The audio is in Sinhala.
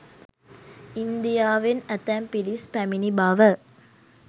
ඉන්දියාවෙන් ඇතැම් පිරිස් පැමිණි බව